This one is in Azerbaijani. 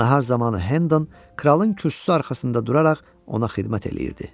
Nahar zamanı Hendon kralın kürsüsü arxasında duraraq ona xidmət eləyirdi.